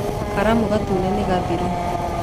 Karamu gatune nĩ gathiru